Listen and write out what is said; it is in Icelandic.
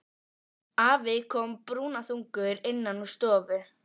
Afi kom brúnaþungur innan úr stofu.